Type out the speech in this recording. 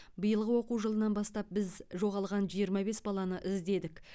биылғы оқу жылынан бастап біз жоғалған жиырма бес баланы іздедік